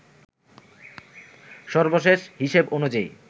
সর্বশেষ হিসেব অনুযায়ী